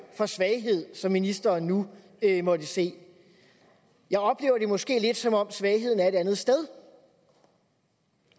for svaghed som ministeren nu måtte se jeg oplever det måske lidt som om svagheden er et andet sted